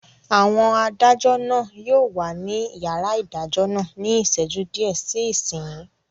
Àwọn adájọ́ náà yóò wà ní yàrá ìdájọ́ náà ní ìṣẹ́jú díẹ̀ sí ìsinyìí